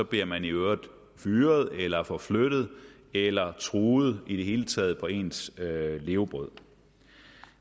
bliver man i øvrigt fyret eller forflyttet eller truet i det hele taget på ens levebrød